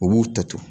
U b'u ta to